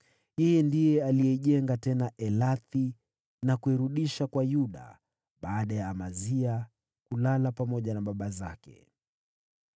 Ndiye aliijenga tena Elathi na kuirudisha kwa Yuda baada ya Amazia kulala pamoja na baba zake.